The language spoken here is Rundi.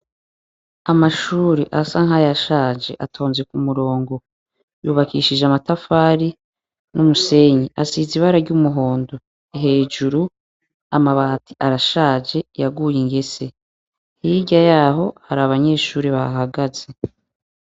Amashure asa nkayashaje atonze kumurongo yubakishije amatafari n'umusenyi asize ibara ry’umuhondo, hejuru amabati arashaje yaguye ingese hirya yaho hari abanyeshure bahahagaze.